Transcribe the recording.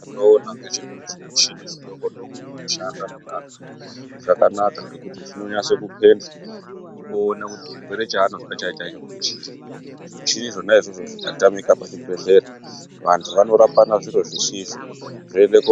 Chendinoona ngechekuti zvimuchini zvidoko-doko zvinoshanda muvanthu zvakanaka maningi, zvinonasa kupendhla kuti chirwere chaanozwa chaicho-chaicho ngechiri? Zvimuchini zvona izvozvo zvikatamika pa chibhedhlera vanthu vanorapana zviro zvisizvo.